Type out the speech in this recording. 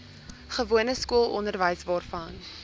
gewone skoolonderwys waarvan